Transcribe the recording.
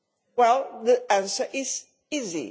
Well, the answer is easy.